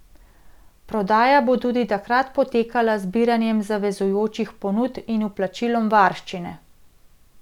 Prodaja bo tudi takrat potekala z zbiranjem zavezujočih ponudb in vplačilom varščine.